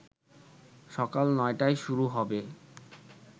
সকাল ৯টায় শুরু হবে